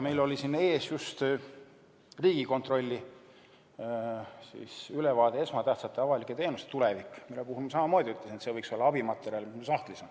Meil oli siin ees just Riigikontrolli ülevaade "Esmatähtsate avalike teenuste tulevik", mille puhul ma samamoodi ütlesin, et see võiks olla abimaterjal, mis sahtlis on.